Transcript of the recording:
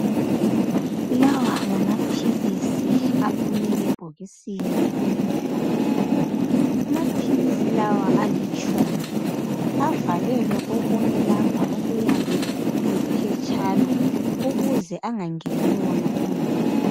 Lawa ngamaphilisi aphume ebhokisini elimhlophe. Amaphilisi lawa alitshumi ,avalelwe kokunye lapha okuyabe kuliphetshana .Ukuze engangeni wona umoya.